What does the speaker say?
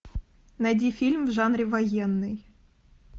найди фильм в жанре военный